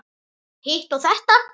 Hitt og þetta.